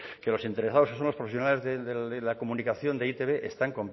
que los interesados que son los profesionales de la comunicación de e i te be están